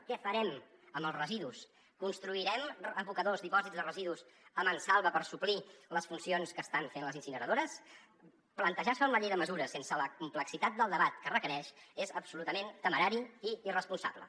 què farem amb els residus construirem abocadors dipòsits de residus a mansalva per suplir les funcions que estan fent les incineradores plantejar s’ho en la llei de mesures sense la complexitat del debat que requereix és absolutament temerari i irresponsable